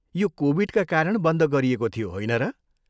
यो कोभिडका कारण बन्द गरिएको थियो, होइन र?